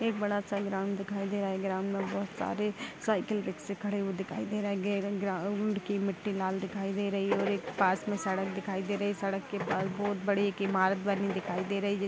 एक बड़ा सा ग्राउंड दिखाई दे रहा है। ग्राउंड में बहुत सारे साइकिल रिक्शे खड़े हुए दिखाई दे रहे हैं। गेर ग्राउंड की मिट्टी लाल दिखाई दे रही है और एक पास में सड़क दिखाई दे रही है। सड़क के पास बहुत बड़ी एक इमारत बनी हुई दिखाई दे रही है।